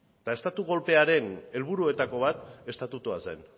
eta estatu kolpearen helburuetako bat estatutua zen